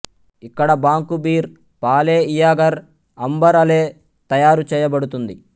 ఇక్కడ bock beer pale ఇయాగర్ amber ale తయారుచేయబడుతుంది